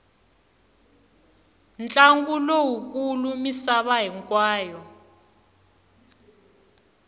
ntlangu lowu kulu misava hinkwayo